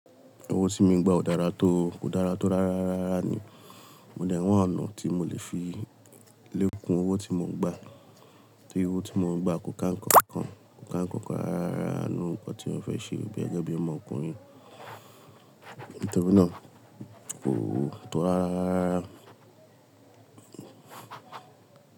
Owó tí mo ń gbà ò dára tó, kò dára tó rárá rárá ni. Mo dè n wa ọ̀nà tí mo lè fi lé kùn owó tí mo ń gbà, tori owó tí mo ń gbà kò ká ǹnkan kan, kò ká ǹnkan kan rárá nínú nǹkan tí mó fẹ́ ṣe gẹ́gẹ́ bí ọmọkùnrin. Nitori náà kò o tò rárá rárá.